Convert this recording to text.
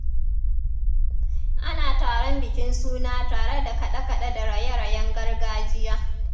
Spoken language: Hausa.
Ana taron bikin suna tare da kaɗe-kade da raye-rayen gargajiya.